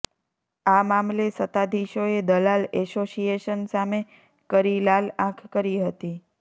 આ મામલે સત્તાધીશોએ દલાલ એસોસિએશન સામે કરી લાલ આંખ કરી હતી